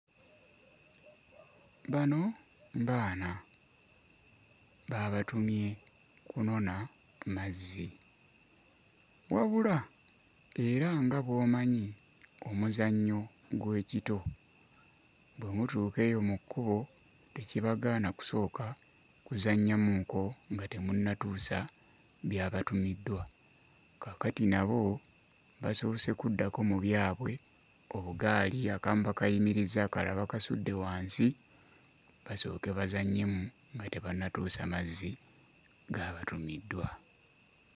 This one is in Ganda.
Bano baana, baabatumye kunona mazzi. Wabula era nga bw'omanyi omuzannyo gw'ekito, bwe mutuuka eyo mu kkubo tekibagana kusooka kuzannyamuuko nga temunnatuusa byabatumiddwa, kaakati nabo basoose kuddako mu byabwe, obugaali akamu bakayimirizza akalala bakasudde wansi basooke bazannyemu nga tebannatuusa mazzi gabatumiddwa.